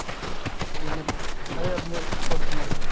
പിന്നെ പഴേതില്